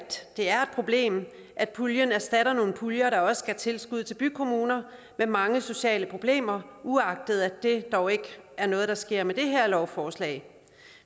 det er problem at puljen erstatter nogle puljer der også gav tilskud til bykommuner med mange sociale problemer uagtet at det dog ikke er noget der sker med det her lovforslag